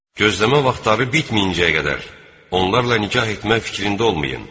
Gözləmə vaxtları bitməyincəyə qədər onlarla nikah etmək fikrində olmayın.